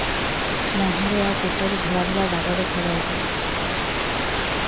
ମୁହଁରେ ଆଉ ପେଟରେ ଧଳା ଧଳା ଦାଗ ଦେଖାଯାଉଛି